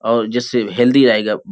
और जिससे हेल्थी रहेगा --